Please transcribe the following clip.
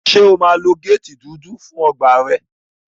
Ṣé o máa lo géètì dúdú fún ọgbà rẹ?